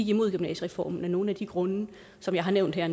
imod gymnasiereformen af nogle af de grunde som jeg har nævnt her